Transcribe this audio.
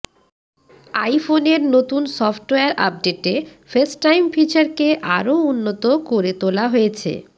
আইফোনের নতুন সফটওয়্যার আপডেটে ফেসটাইম ফিচারকে আরও উন্নত করে তোলা হয়েছে